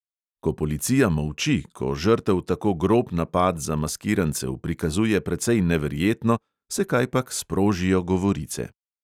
Ko policija molči, ko žrtev tako grob napad zamaskirancev prikazuje precej neverjetno, se kajpak sprožijo govorice.